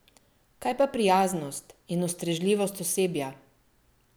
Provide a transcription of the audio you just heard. Kaj pa prijaznost in ustrežljivost osebja?